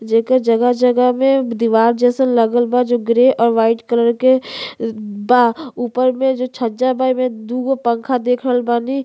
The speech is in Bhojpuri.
जेकर जगह-जगह में दीवार जैसा लगल बा जो ग्रे और वाइट कलर के बा ऊपर में जो छजा बा एमें दूगो पंखा देख रहल बानी।